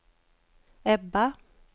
Ebba